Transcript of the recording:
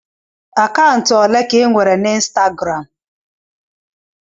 Akaụntụ olee ka ị nwere na Ịnstagram?